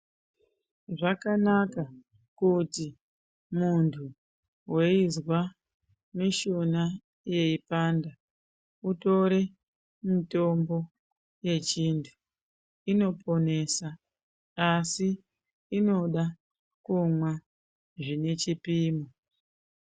Zvakanaka kuti muntuweizwa mushuna yeipanda utore mutombo yechintu inoponesa asi inoda kumwa zvine chipimo.